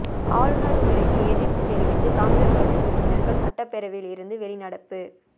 ஆளுநர் உரைக்கு எதிர்ப்பு தெரிவித்து காங்கிரஸ் கட்சி உறுப்பினர்கள் சட்டப்பேரவையில் இருந்து வெளிநடப்பு